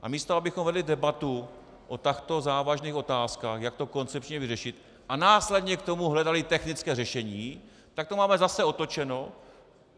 A místo abychom vedli debatu o takto závažných otázkách, jak to koncepčně vyřešit, a následně k tomu hledali technické řešení, tak to máme zase otočeno.